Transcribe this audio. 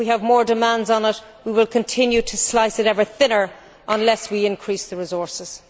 If we have more demands on it, we will continue to slice it ever thinner unless we increase the resources.